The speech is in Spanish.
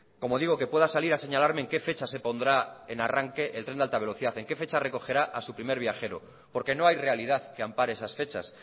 como digo que pueda salir a señalarme en qué fecha se pondrá en arranque el tren de alta velocidad en qué fecha recogerá a su primer viajero porque no hay realidad que ampare esas fechas